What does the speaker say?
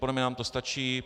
Podle mě nám to stačí.